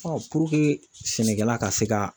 sɛnɛkɛla ka se ka